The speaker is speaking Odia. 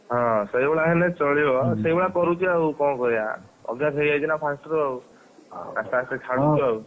ହଁ ସେଇଭଳିଆ ହେଲେ ଚଳିବ ହୁଁ ସେଇଭଳିଆ କରୁଛି ଆଉ କଣ କରିଆ ଅଭ୍ୟାସ ହେଇଯାଇଛିନା first ରୁ ଆଉ ଆସ୍ତେ ଆସ୍ତେ ଛାଡ଼ୁଚୁ ଆଉ।